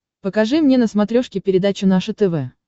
покажи мне на смотрешке передачу наше тв